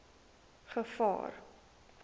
gevaar